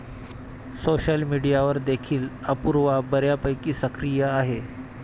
Social मीडियावर देखील अपूर्वा बऱ्यापैकी सक्रिय आहे.